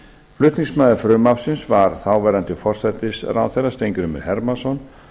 flutningsmaður frumvarpsins var þáverandi forsætisráðherra steingrímur hermannsson